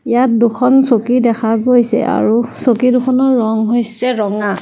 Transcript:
ইয়াত দুখন চকী দেখা গৈছে আৰু চকীদুখনৰ ৰং হৈছে ৰঙা।